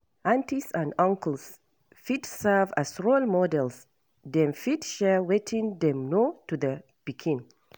Aunties and uncles fit serve as role models dem fit share wetin dem know to the pikin